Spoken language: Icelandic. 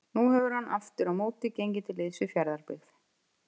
Nú hefur hann aftur á móti gengið til liðs við Fjarðabyggð.